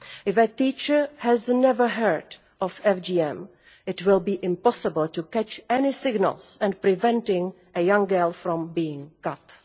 If a teacher has never heard of FGM, it will be impossible to pick up any signals and prevent a young girl from being cut.